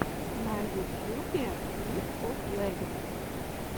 на ютьюбе лиг оф легендс